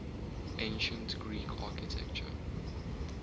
ancient greek architecture